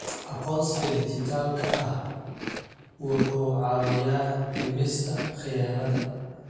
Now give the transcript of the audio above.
Aqoonsiga dhijitaalka ah wuxuu caawiyaa dhimista khiyaanada.